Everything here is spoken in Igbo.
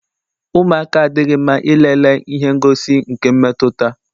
Ụmụaka adịghị mma ilele ihe ngosi nke mmetụta.